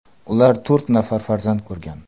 Ular to‘rt nafar farzand ko‘rgan.